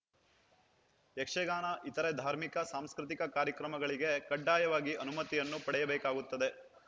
ಯಕ್ಷಗಾನ ಇತರೆ ಧಾರ್ಮಿಕ ಸಾಂಸ್ಕೃತಿಕ ಕಾರ್ಯಕ್ರಮಗಳಿಗೆ ಕಡ್ಡಾಯವಾಗಿ ಅನುಮತಿಯನ್ನು ಪಡೆಯಬೇಕಾಗುತ್ತದೆ